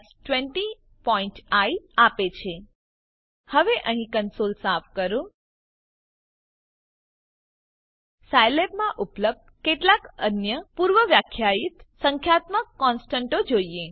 20આઇ આપે છે હવે અહીં કંસોલ સાફ કરો ચાલો સાયલેબમાં ઉપલબ્ધ કેટલાક અન્ય પૂર્વવ્યાખ્યાયિત સંખ્યાત્મક કોનસ્ટંટો જોઈએ